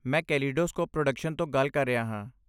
ਮੈਂ Kaleidoscope Production ਤੋਂ ਗੱਲ ਕਰ ਰਿਹਾ ਹਾਂ।